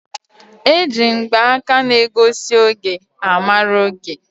E ji mgbaka na egosi oge a mara oge.